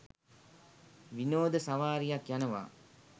විනෝද සවාරියක් යනවා.